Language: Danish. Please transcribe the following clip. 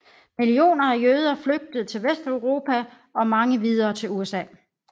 Millioner af jøder flygtede til Vesteuropa og mange videre til USA